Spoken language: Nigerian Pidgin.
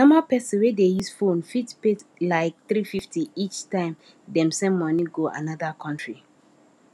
normal person wey dey use phone fit pay like 350 each time dem send money go another country